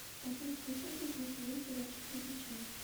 одиннадцатая часть восьмой сезон сериальчик завучи